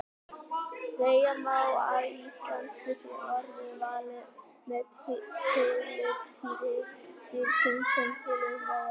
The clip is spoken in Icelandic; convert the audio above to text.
Segja má að í íslensku sé orðið valið með tilliti dýrsins sem til umræðu er.